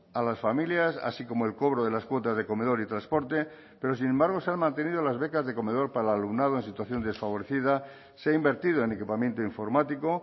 a las familias así como el cobro de las cuotas de comedor y transporte pero sin embargo se han mantenido las becas de comedor para el alumnado en situación desfavorecida se ha invertido en equipamiento informático